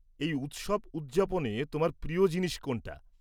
এই উৎসব উদযাপনে তোমার প্রিয় জিনিস কোনটা?